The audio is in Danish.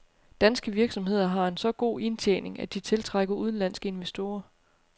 Danske virksomheder har en så god indtjening, at de tiltrækker udenlandske investorer.